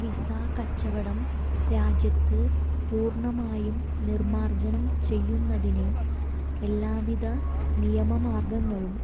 visa കച്ചവടം രാജ്യത്ത് പൂര്ണമായും നിര്മാര്ജനം ചെയ്യുന്നതിന് എല്ലാവിധ നിയമ മാര്ഗങ്ങളും